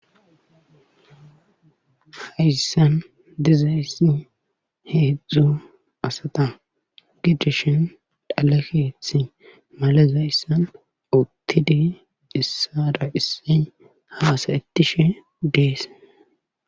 Hayssan dizayssi hedzdzu asata gidishin xale keeththi malezayssn uttidi issowara issoy hasayetishe dees.